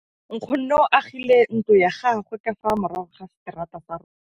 Nkgonne o agile ntlo ya gagwe ka fa morago ga seterata sa rona.